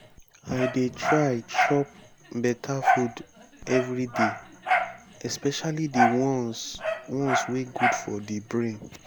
i dey try chop beta food everyday especially the ones ones wey good for the brain